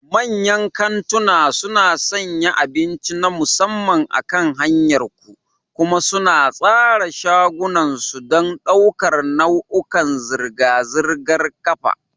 Manyan kantunan suna sanya abinci na musamman akan hanyar ku, kuma suna tsara shagunan su don ɗaukar nau'ikan zirga-zirgar ƙafa.